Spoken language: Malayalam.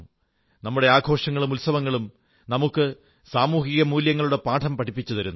നമ്മുടെ ആഘോഷങ്ങളും ഉത്സവങ്ങളും നമുക്ക് സാമൂഹികമൂല്യങ്ങളുടെ പാഠം പഠിപ്പിച്ചു തരുന്നു